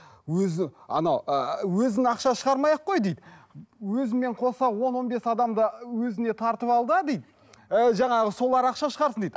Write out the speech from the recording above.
өзі анау ы өзің ақша шығармай ақ қой дейді өзіңмен қоса он он бес адамды өзіңе тартып ал да дейді ііі жаңағы солар ақша шығарсын дейді